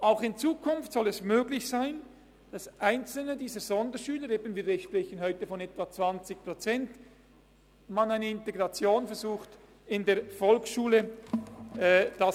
Auch in Zukunft soll es möglich sein, dass bei Einzelnen dieser Sonderschüler – wir sprechen heute von etwa 20 Prozent – eine Integration in die Volksschule versucht wird.